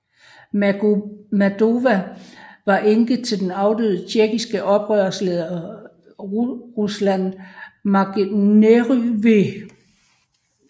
Magomadova var enke til den afdøde tjetjenske oprørsleder Ruslan Mangeriyev